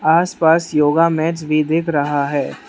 आसपास yoga mats भी दिख रहा है।